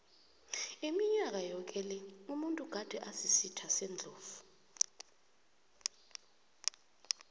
iminyaka yoke le umuntu gade asisitha sendlovu